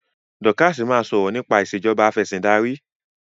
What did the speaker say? Dorcas má sọrọ nipa Ìṣèjọba Afẹ̀sìndarí.